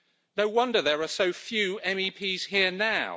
No wonder there are so few MEPs here now.